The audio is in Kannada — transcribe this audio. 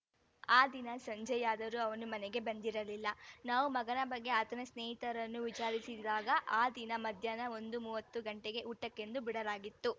ಆ ದಿನ ಸಂಜೆಯಾದರೂ ಅವನು ಮನೆಗೆ ಬಂದಿರಲಿಲ್ಲ ನಾವು ಮಗನ ಬಗ್ಗೆ ಆತನ ಸ್ನೇಹಿತರನ್ನು ವಿಚಾರಿಸಿದಾಗ ಆ ದಿನ ಮಧ್ಯಾಹ್ನ ಒಂದು ಮೂವತ್ತು ಗಂಟೆಗೆ ಊಟಕ್ಕೆಂದು ಬಿಡಲಾಗಿತ್ತು